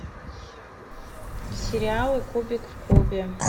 сериалы кубик в кубе